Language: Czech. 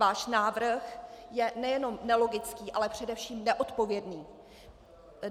Váš návrh je nejenom nelogický, ale především neodpovědný.